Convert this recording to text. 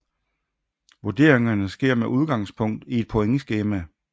Vurderingerne sker med udgangspunkt i et pointskema